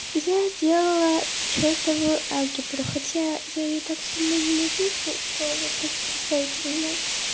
я делала чёртовую алгебру хотя я её так сильно ненавижу что вы просто представить себе не можешь